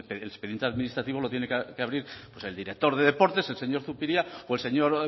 el expediente administrativo lo tiene que abrir pues el director de deportes el señor zupiria o el señor